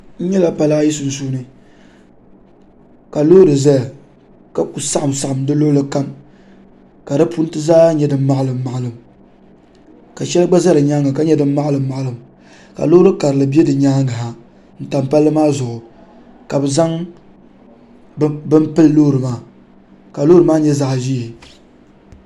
N nyɛla pala ayi sunsuuni ka loori ʒɛya ka ku saɣam saɣam di luɣuli kam ka di punti zaa nyɛ din maɣalim maɣalim ka shɛli gba ʒɛ di nyaanga ka nyɛ din maɣalim maɣalim ka loori karili bɛ di nyaangi ha n tam palli maa zuɣu ka bi zaŋ bini pili loori maa ka loori maa nyɛ zaɣ ʒiɛ